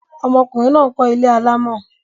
Ọmọkùnrin náà ń kọ́ ilé alámọ̀.